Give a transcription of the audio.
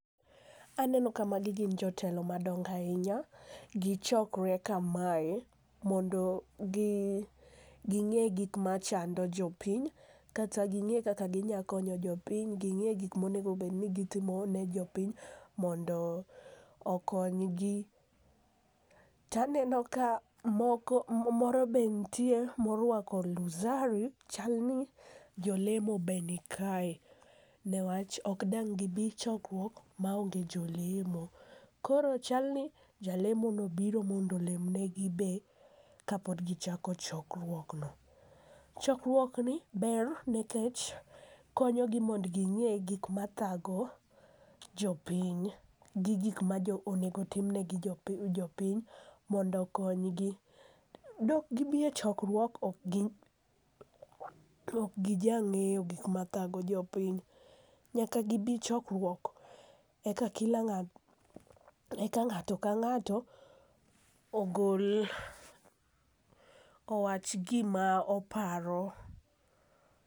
aneno ka magi gin jotelo madongo ahinya, gichokre kamae mondo ging'e gik machando jopiny, kata ging'e kaka ginya konyo jopiny, ging'e gik monego obedni gitimo ne jopiny, mondo okony gi. Taneno ka moko moro be ntie morwako luzari, chalni jolemo be nikae niwach ok dang' gibi i chokruok maonge jolemo. Koro chal ni jalemono obiro mondo olemnegi be kapod gichako chokruokno. Chokruokni ber nikech konyogi mondo ging'e gik mathago jopiny, gi gik ma onego otimne jopiny mondo okonygi. Dok gibi e chokruok, ok ginya ng'eyo gik mathago jopiny. Nyaka gibi chokruok e kang'ato ka ng'ato ogol ,owach gima oparo